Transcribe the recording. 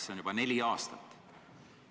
See on juba neli aastat.